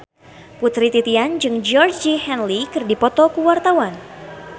Putri Titian jeung Georgie Henley keur dipoto ku wartawan